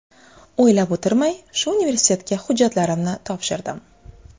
O‘ylab o‘tirmay, shu universitetga hujjatlarimni topshirdim.